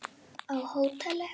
Á hóteli?